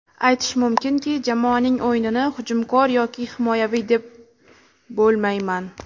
Aytish mumkinki, jamoaning o‘yinini hujumkor yoki himoyaviy deb bo‘lmayman.